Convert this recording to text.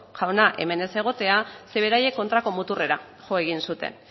jauna hemen ez egotea zeren beraiek kontrako muturrera jo egin zuten